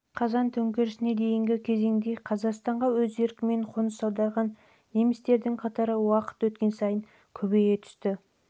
қазан төңкерісіне дейінгі кезеңде қазақстанға өз еркімен қоныс аударған немістердің қатары уақыт өткен сайын көбейіп олар